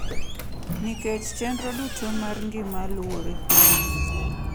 Nikech chenro duto mar ngima luwore kuno.